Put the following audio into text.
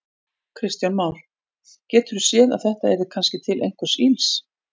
Kristján Már: Geturðu séð að þetta yrði kannski til einhvers ills?